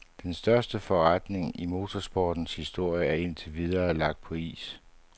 Den største forretning i motorsportens historie er indtil videre lagt på is.